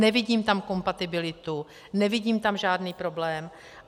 Nevidím tam kompatibilitu, nevidím tam žádný problém.